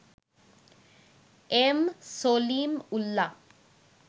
M Salim Ullah